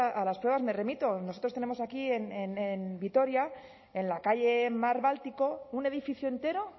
a las pruebas me remito nosotros tenemos aquí en vitoria en la calle mar báltico un edificio entero